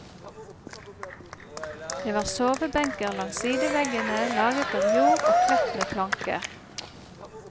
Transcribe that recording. Det var sovebenker langs sideveggene laget av jord og kledt med planker.